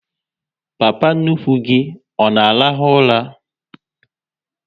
Papa nnukwu gị ọ na arahu ụla?